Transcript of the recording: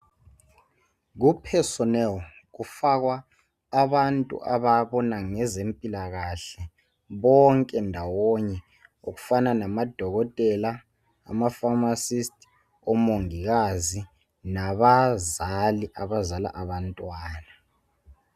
Ku personel kufakwa abantu ababona ngezempilakahle bonke ndawonye okufana namadokotela. Amaphamacists, omongikazi nbazali abazala abantwana.